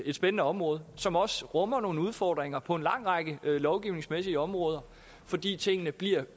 et spændende område som også rummer nogle udfordringer på en lang række lovgivningsmæssige områder fordi tingene